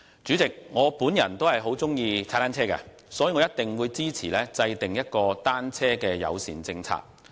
主席，我也很喜歡踏單車，所以，我一定支持制訂單車友善的政策。